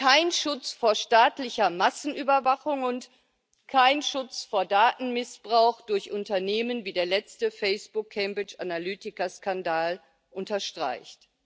kein Schutz vor staatlicher Massenüberwachung und kein Schutz vor Datenmissbrauch durch Unternehmen, wie der letzte Facebook Cambridge Analytica Skandal unterstreicht.